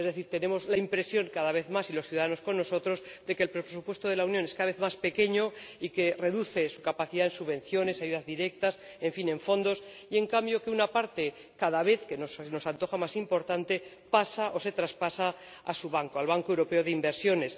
Es decir, tenemos la impresión, cada vez más ―y los ciudadanos con nosotros―, de que el presupuesto de la Unión es cada vez más pequeño y de que se reduce su capacidad de subvenciones, ayudas directas ―en fin, de fondos― y, en cambio, una parte, que cada vez se nos antoja más importante, pasa o se traspasa a su banco, al Banco Europeo de Inversiones.